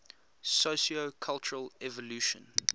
sociocultural evolution